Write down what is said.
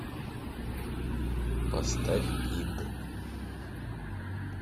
поставь ид